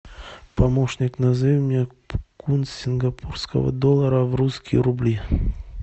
помощник назови мне курс сингапурского доллара в русские рубли